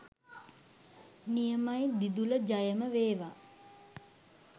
නියමයි දිදුල ජයම වේවා